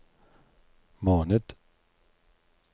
måned